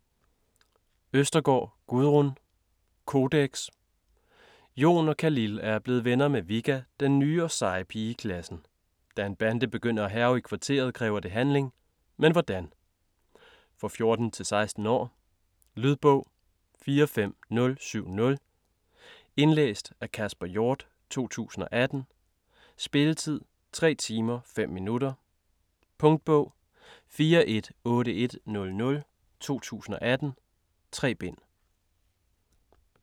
Østergaard, Gudrun: Kodeks Jon og Khalil er blevet venner med Vigga, den nye og seje pige i klassen. Da en bande begynder at hærge i kvarteret kræver det handling. Men hvordan?. For 14-16 år. Lydbog 45070 Indlæst af Kasper Hjort, 2018. Spilletid: 3 timer, 5 minutter. Punktbog 418100 2018. 3 bind.